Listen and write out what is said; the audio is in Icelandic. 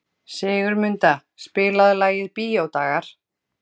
Sigurmunda, spilaðu lagið „Bíódagar“.